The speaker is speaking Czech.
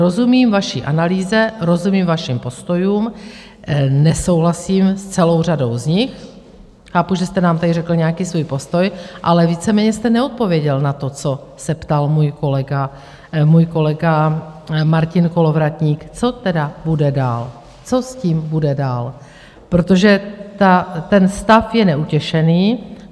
Rozumím vaší analýze, rozumím vašim postojům, nesouhlasím s celou řadou z nich, chápu, že jste nám tady řekl nějaký svůj postoj, ale víceméně jste neodpověděl na to, co se ptal můj kolega Martin Kolovratník, co tedy bude dál, co s tím bude dál, protože ten stav je neutěšený.